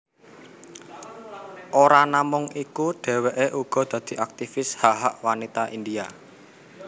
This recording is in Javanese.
Ora namung iku dheweké uga dadi aktifis hak hak wanita India